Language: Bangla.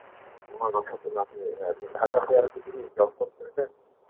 আমার বাসা নাটোরে. ঢাকা তে কি এখন job করতেছেন?